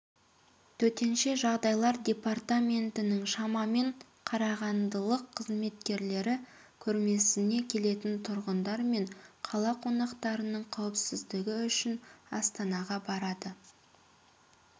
төтенше жағдайлар департаментінің шамамен қарағандылық қызметкерлері көрмесіне келетін тұрғындар мен қала қонақтарының қауіпсіздігі үшін астанаға барады